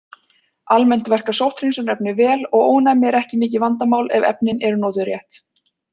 Almennt verka sótthreinsunarefni vel og ónæmi er ekki mikið vandamál ef efnin eru notuð rétt.